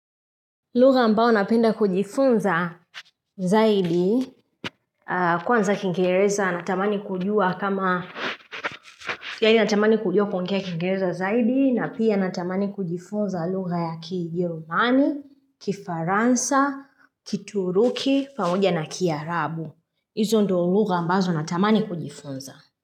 Lugha ambao napenda kujifunza zaidi. Kwanza kingeereza, na amani kujua kama, siya ni na tamani kujua kingereza zaidi, na pia na tamani kujifunza lugha ya kijilumani, kifaransa, kituruki, pamoja na kiarabu. Izo ndo lugha ambazo na tamani kujifunza.